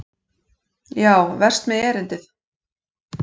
Já, verst með erindið.